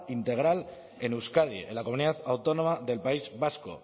integral en euskadi en la comunidad autónoma del país vasco